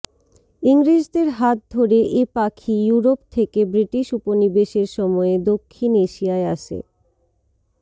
ইংরেজদের হাত ধরে এ পাখি ইউরোপ থেকে ব্রিটিশ উপনিবেশের সময়ে দক্ষিণ এশিয়ায় আসে